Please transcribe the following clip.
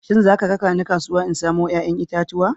Shin za ka raka ni kasuwa in samo 'ya'yan itatuwa?